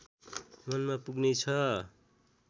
मनमा पुग्ने छ